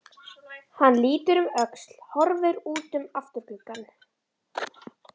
Hann lítur um öxl, horfir út um afturgluggann.